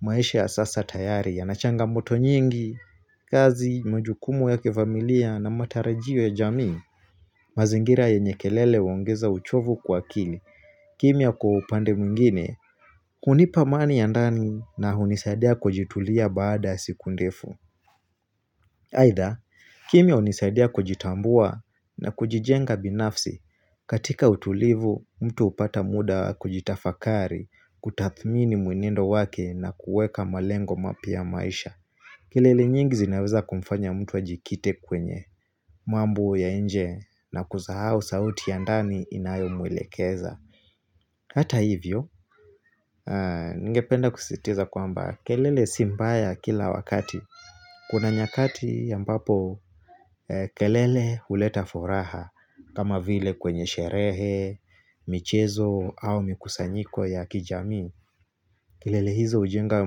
Maisha ya sasa tayari yana changamoto nyingi, kazi, majukumu ya kifamilia na matarajio ya jamii. Mazingira yenye kelele huongeza uchovu kwa akili. Kimya kwa upande mwingine, hunipa amani ya ndani na hunisadia kujitulia baada ya siku ndefu. Aidha, kimya hunisaidia kujitambua na kujijenga binafsi katika utulivu, mtu hupata muda kujitafakari, kutathmini mwenendo wake na kuweka malengo mapya ya maisha. Kelele nyingi zinaweza kumfanya mtu ajikite kwenye, mambo ya nje na kusahau sauti ya ndani inayomwelekeza. Hata hivyo, ningependa kusisitiza kwamba kelele si mbaya kila wakati. Kuna nyakati ambapo kelele huleta furaha kama vile kwenye sherehe, michezo au mikusanyiko ya kijamii. Kelele hizo hujenga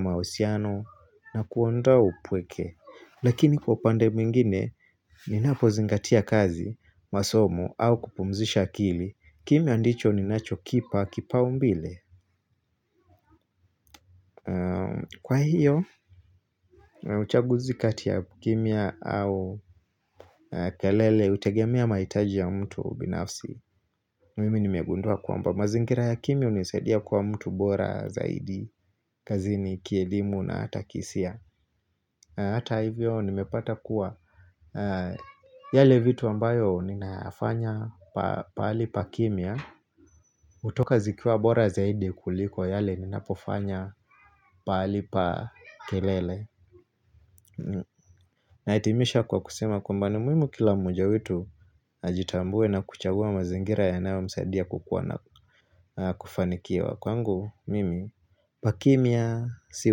mahusiano na kuondoa upweke. Lakini kwa upande mwingine, ninapozingatia kazi masomo au kupumzisha akili, kimya ndicho ninachokipa kipaumbele. Kwa hiyo, uchaguzi kati ya kimya au kelele hutegemea mahitaji ya mtu binafsi. Mimi nimegundua kwamba mazingira ya kimya hunisaidia kwa mtu bora zaidi kazini, kielimu na hata kihisia. Hata hivyo nimepata kuwa yale vitu ambayo ninayafanya pahali pa kimya hutoka zikiwa bora zaidi kuliko yale ninapofanya pahali pa kelele. Nahitimisha kwa kusema kwamba ni muhimu kila mmoja wetu ajitambue na kuchagua mazingira yanayomsaidia kukua na kufanikiwa. Kwangu mimi, pa kimya si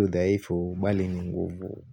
udhaifu bali ni nguvu.